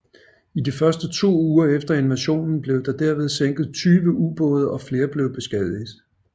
I de to første uger efter invasionen blev der derved sænket 20 ubåde og flere blev beskadiget